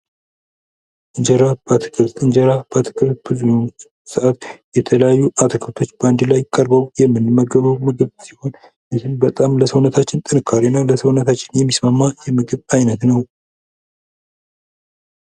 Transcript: እንጀራ በአትክልት እንጀራ በአትክልት የተለያዩ አትክልቶች በአንድ ላይ ቀርበው የምንመገበው ምግብ ሲሆን ግን በጣም ለሰውነታችን ጥንካሬ እና ለሰውነታችን የሚስማማ የምግብ ዓይነት ነው።